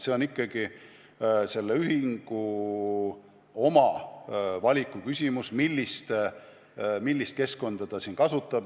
See on ikka ühingute oma valiku küsimus, millist keskkonda ta kasutab.